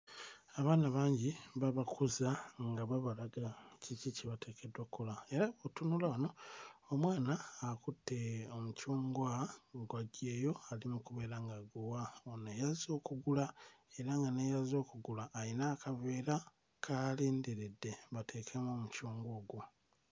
Abantu bali kutambula; omu omukyala aweese enku ku mutwe gwe, omulala taweese. Bonna batambula, aweese enku akutte omwana ku mukono.